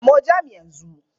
Samo jam yanzu!